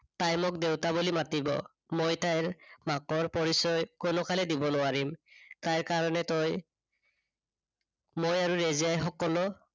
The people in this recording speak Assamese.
তাই মোক দেউতা বুলি মাতিব। মই তাইৰ মাকৰ পৰিচয় কোনো কালেই দিব নোৱাৰিম। তাইৰ কাৰনে তই, মই আৰু ৰেজিয়াই সকলো